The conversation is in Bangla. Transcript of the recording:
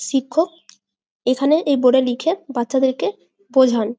শিক্ষক এখানে এই বোর্ড -এ লিখে বাচ্চাদেরকে বোঝান।